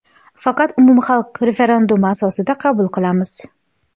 faqat umumxalq referendumi asosida qabul qilamiz.